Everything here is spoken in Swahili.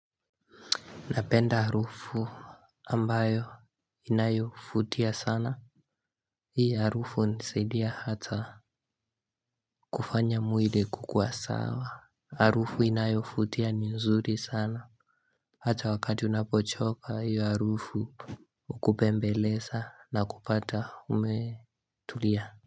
Napenda arufu ambayo inayofutia sana. Hii arufu, nisaidia hata, kufanya mwili kukua sawa. Arufu inayofutia, ni zuri sana. Hata wakati unapochoka, hiyo harufu, ukupembeleza na kupata, umetulia.